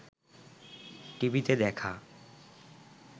টিভিতে দেখা